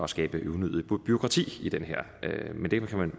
skabe unødigt bureaukrati